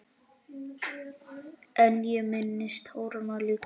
En ég minnist táranna líka.